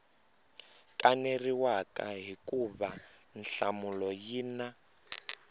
kaneriwaka hikuva nhlamulo yi na